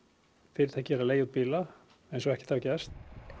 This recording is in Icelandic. fyrirtækið er enn að leigja út bíla eins og ekkert hafi gerst